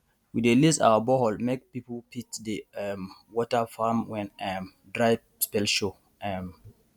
we dey lease our borehole make people fit dey um water farm when um dry spell show um